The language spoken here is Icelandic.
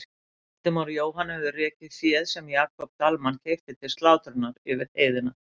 Valdimar og Jóhann höfðu rekið féð sem Jakob Dalmann keypti til slátrunar yfir heiðina.